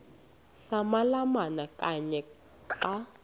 samalama kanye xa